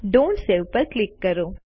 don't save પર click કરો